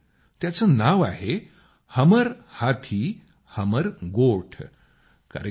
त्याचं नाव आहे हमर हाथी हमर गोठ कार्यक्रमाचं